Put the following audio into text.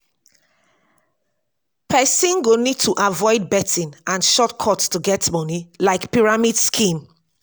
person go need to avoid betting and short cut to get money like pyramid scheme